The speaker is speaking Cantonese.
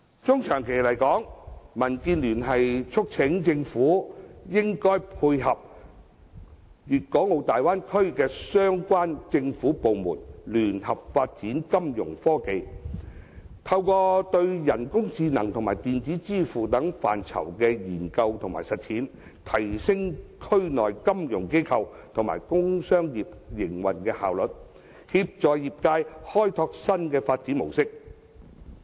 中長期而言，民建聯促請政府應與大灣區的對口政府部門合作，聯合發展金融科技，透過對人工智能和電子支付等範疇的研究和實踐，提升區內金融機構及工商業的營運效率，協助業界開拓新的發展模式。